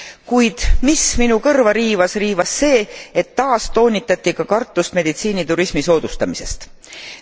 Kuid mis minu kõrva riivas, oli see, et taas toonitati ka kartust meditsiiniturismi soodustamise pärast.